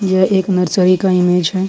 यह एक नर्सरी का इमेज है।